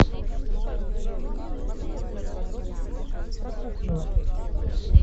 ассистент могу я узнать подробности про кухню в отеле